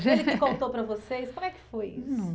Ele que contou para vocês, como é que foi isso?